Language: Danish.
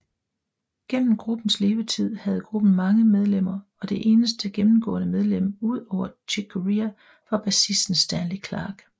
Gennem gruppens levetid havde gruppen mange medlemmer og det eneste gennemgående medlem udover Chick Corea var bassisten Stanley Clarke